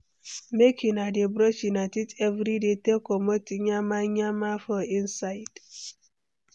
Make una dey brush una teeth everyday take comot nyama nyama for inside.